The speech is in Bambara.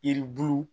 Yiribulu